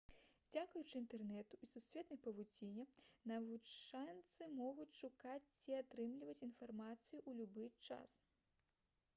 дзякуючы інтэрнэту і сусветнай павуціне навучэнцы могуць шукаць ці атрымліваць інфармацыю ў любы час